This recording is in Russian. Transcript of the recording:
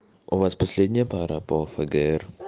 у вас последняя пара по фгр